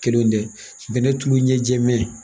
Kelenw tɛ bɛnɛ tulu ɲɛ jɛ mɛ